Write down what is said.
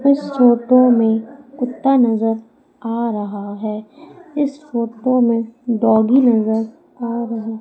इस फोटो में कुत्ता नजर आ रहा है इस फोटो में डॉगी नजर आ रहा--